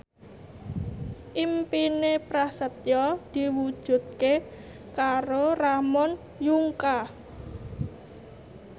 impine Prasetyo diwujudke karo Ramon Yungka